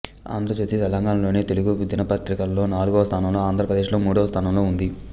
ఆంధ్రజ్యోతి తెలంగాణాలోని తెలుగు దినపత్రికలలో నాల్గవ స్థానంలో ఆంధ్రప్రదేశ్ లో మూడవ స్థానంలో ఉంది